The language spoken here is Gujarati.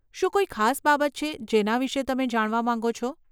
શું કોઈ ખાસ બાબત છે જેના વિશે તમે જાણવા માંગો છો?